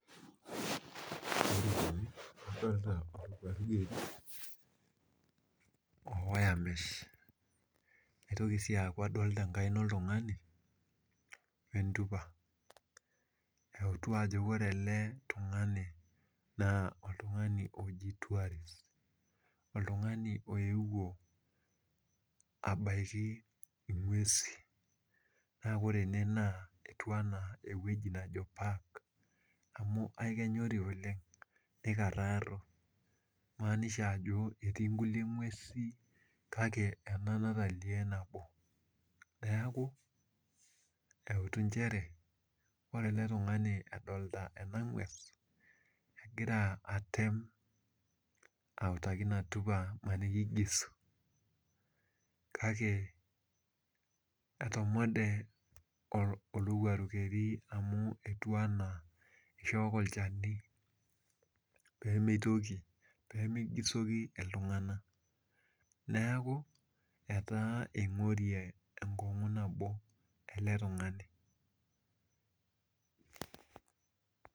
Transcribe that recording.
Adolita enkaina oltungani entupa euti ajo ore eletungani na oltungani oji tourist oltungani oewuo abaki ngweusi na ore ene etiu ana ewoi naji park amu akenyori oleng nikararo nimaanisha ajo etii nkulie ngwesin kake ena nalio nabo neaku ejti nchere ore eletungani edolita enangwes na kegira atem autaki inatupa kake etomode olowuaru keri amu etiu ana ishooko olchani pemigisoki ltunganak neaku etaa kingorie enkongu nabo eletungani .